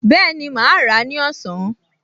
Bẹ́ẹ̀ni, mà á rà á ní ọ̀sán